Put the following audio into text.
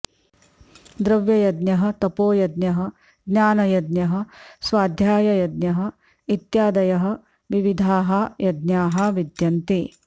द्रव्ययज्ञः तपोयज्ञः ज्ञानयज्ञः स्वाध्याययज्ञः इत्यादयः विविधाः यज्ञाः विद्यन्ते